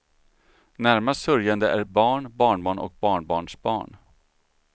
Närmast sörjande är barn, barnbarn och barnbarnsbarn.